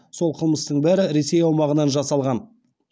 сол қылмыстың бәрі ресей аумағынан жасалған